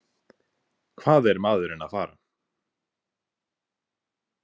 Hvað er maðurinn að fara?